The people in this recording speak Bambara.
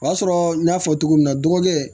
O y'a sɔrɔ n y'a fɔ cogo min na dɔgɔkɛ